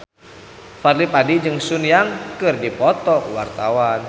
Fadly Padi jeung Sun Yang keur dipoto ku wartawan